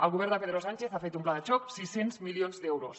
el govern de pedro sánchez ha fet un pla de xoc sis cents milions d’euros